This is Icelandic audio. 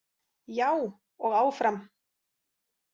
Já, og áfram.